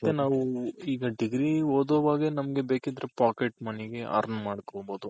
ಮತ್ತೆ ನಾವು ಈಗ degree ಓದೋವಾಗೆ ನಮ್ಗೆ ಬೇಕಿದ್ರೆ Pocket Moneyಗೆ Earn ಮಾಡ್ಕೊಬೋದು